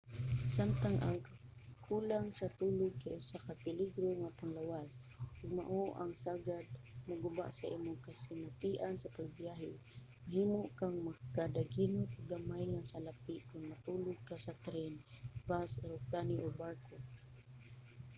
samtang ang kakulang sa tulog kay usa ka peligro sa panglawas ug mao ang sagad moguba sa imong kasinatian sa pagbiyahe mahimo kang makadaginot og gamay nga salapi kon matulog ka sa tren bus eroplano o barko